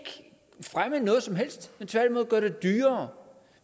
fremme noget som helst men tværtimod gøre det dyrere